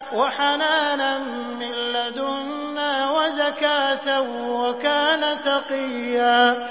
وَحَنَانًا مِّن لَّدُنَّا وَزَكَاةً ۖ وَكَانَ تَقِيًّا